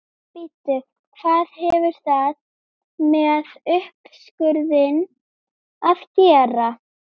Bíddu hvað hefur það með uppskurðinn að gera?